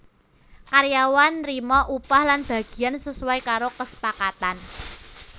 Karyawane nrima upah lan bagiyan sesuai karo kesepakatan